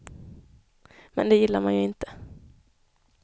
Men det gillar man ju inte.